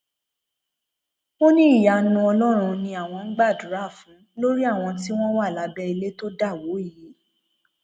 ó ní ìyanu ọlọrun ni àwọn ń gbàdúrà fún lórí àwọn tí wọn wà lábẹ ilẹ tó dá wọ yìí